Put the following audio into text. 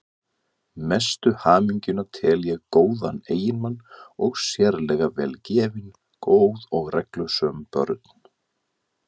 Mestu hamingjuna tel ég góðan eiginmann og sérlega vel gefin, góð og reglusöm börn.